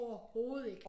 Overhovedet ikke